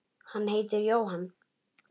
Hann heitir Jóhann